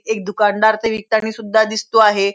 एक दुकानदार ते विकतानी सुद्धा दिसतो आहे.